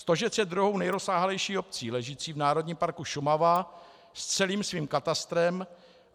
Stožec je druhou nejrozsáhlejší obcí ležící v národním parku Šumava s celým svým katastrem.